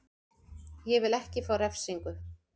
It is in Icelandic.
Ég vil ekki fá refsingu.